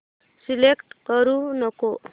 select करू नको